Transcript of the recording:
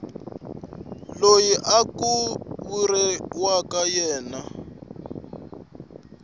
loyi ku vuriwaka yena eka